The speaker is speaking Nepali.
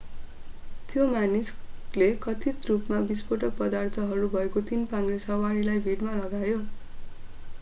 त्यो मानिसले कथित रूपमा विस्फोटक पदार्थहरू भएको तीन-पाङ्ग्रे सवारीलाई भिडमा लग्यो